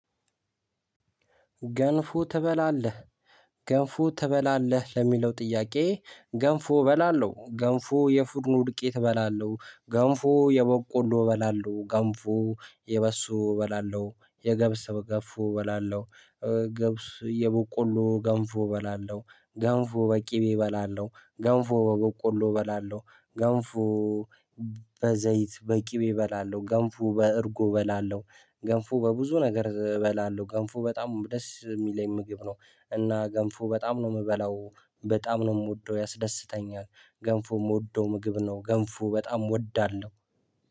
ገንፉ ትበላለህ ገንፎ ትበላለህ ለሚለው ጥያቄ? ገንፎ እበላለሁ ገንፎ የፉድኑ ዱቄት እበላለሁ ገንፎ የበቆሎ እበላለሁ ገንፎ የበሶ እበላለሁ የገብስ ገንፎ እበላለሁ። ገብስ የበቆሉ ገንፎ በላለው ገንፎ በቂቤ እበላለው ገንፎ በበቆሎ እበላለው ገንፎ። በቅቤ እበላለሁ ገንፎ በእርጎ እበላለሁ ገንፎ በብዙ ነገር እበላለሁ ገንፎ በጣም ደስ የሚለኝ ምግብ ነው። እና ገንፎ በጣም ነው የምበላው በጣም ነው የምወደው ያስደስተኛል። ገንፎ የምወደው ምግብ ነው ገንፎ በጣም እወዳለሁ